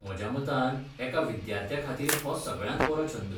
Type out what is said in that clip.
म्हज्या मतान, एका विद्यार्थ्याखातीर हो सगळ्यांत बरो छंद.